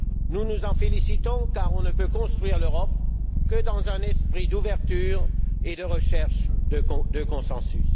Nous nous en félicitons car on ne peut construire l'Europe que dans un esprit d'ouverture et de recherche de consensus.